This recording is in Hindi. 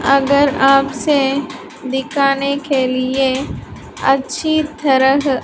अगर आपसे दिखाने के लिए अच्छी थरह --